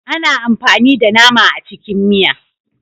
Ana amfani da nama a cikin miya.